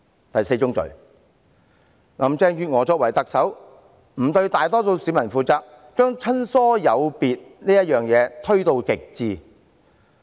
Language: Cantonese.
第四宗罪，林鄭月娥作為特首，沒有對大多數市民負責，把親疏有別推到極致。